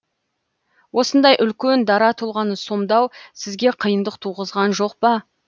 осындай үлкен дара тұлғаны сомдау сізге қиындық туғызған жоқ па